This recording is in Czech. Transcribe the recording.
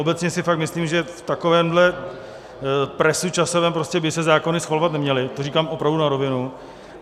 Obecně si fakt myslím, že v takovémhle presu časovém prostě by se zákony schvalovat neměly, to říkám opravdu na rovinu.